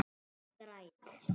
Og ég græt.